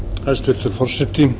hæstvirtur forseti